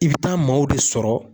I bi taa maaw de sɔrɔ